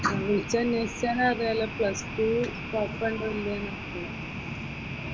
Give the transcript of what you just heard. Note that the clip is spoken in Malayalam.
വിളിച്ച് അനേഷിച്ചാൽ അറിയാല്ലോ പ്ലസ് ടു സ്കോപ്പ്‌ ഉണ്ടോ ഇല്ലിയോ എന്ന്.